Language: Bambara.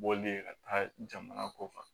Bɔli ye ka taa jamana ko kan